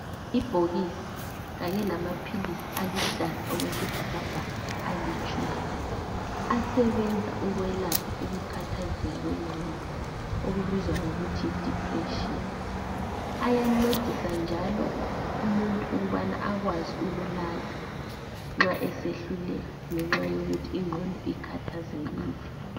Ibhokisi kanye lamaphilisi aluhlaza okwesibhakabhaka alitshumi asebenza ukwelapha ukukhathazeka kwengqondo okubizwa ngokuthi yi depression ayancedisa njalo umuntu ukubana akwazi ukulala nxa esehluleka ngenxa yokuthi ingqondo ikhathazekile.